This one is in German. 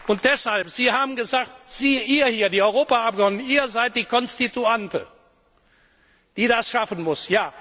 Und deshalb Sie haben gesagt Sie ihr hier, die Europaabgeordneten, ihr seid die Konstituante, die das schaffen muss.